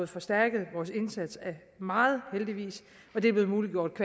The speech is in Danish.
forstærket vores indsats meget og det er muliggjort